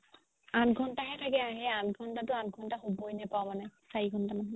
আঠ ঘণ্টা হে থাকে আঠ ঘণ্টাতো আঠ ঘণ্টা শুৱৈ নেপাও মানে চাৰি ঘণ্টা মান শু